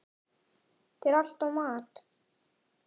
Þetta er alltaf mat.